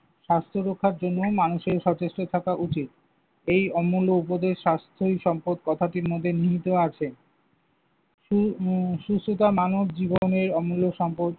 স্বাস্থ্য রক্ষার জন্যও মানুষের সচেষ্ট থাকা উচিত। এই অমূল্য উপদেশ স্বাস্থ্যই সম্পদ কথাটির মধ্যে নিহিত আছে। সু উম সুস্থতা মানব জীবনের অমূল্য সম্পদ।